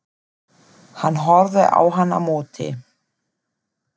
Hann horfði á hann á móti.